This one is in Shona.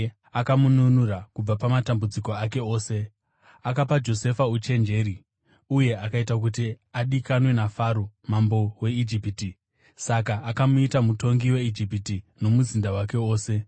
akamununura kubva pamatambudziko ake ose. Akapa Josefa uchenjeri uye akaita kuti adikanwe naFaro mambo weIjipiti; saka akamuita mutongi weIjipiti nomuzinda wake wose.